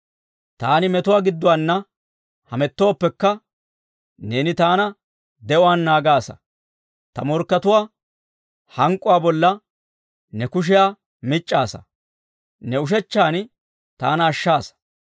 Taani metuwaa gidduwaana hamettooppekka, neeni taana de'uwaan naagaasa. Ta morkkatuwaa hank'k'uwaa bolla ne kushiyaa mic'c'aasa; ne ushechchan taana ashshaasa.